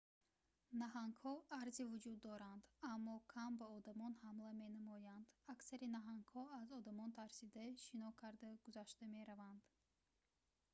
наҳангҳо арзи вуҷуд доранд аммо кам ба одамон ҳамла менамоянд аксари наҳангҳо аз одамон тарсида шино карда гузашта мераванд